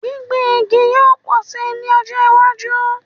Gbìngbin igi yóò pọ̀ si ní ọjọ́ iwájú